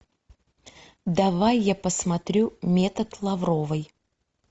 давай я посмотрю метод лавровой